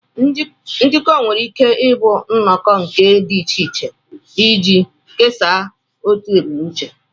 Njikọ nwere ike ịbụ nnọkọ nke ndị dị iche iche iji kesaa otu ebumnuche